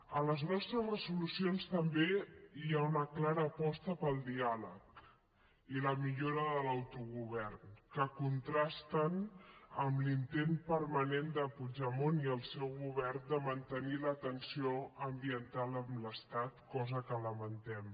a les nostres resolucions també hi ha una clara aposta pel diàleg i la millora de l’autogovern que contrasten amb l’intent permanent de puigdemont i el seu govern de mantenir la tensió ambiental amb l’estat cosa que lamentem